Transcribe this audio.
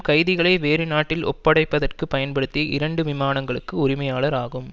கைதிகளை வேறு நாட்டில் ஒப்படைப்பதற்கு பயன்படுத்தி இரண்டு விமானங்களுக்கு உரிமையாளர் ஆகும்